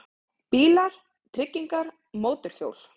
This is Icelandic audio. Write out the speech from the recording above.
BÍLAR, TRYGGINGAR, MÓTORHJÓL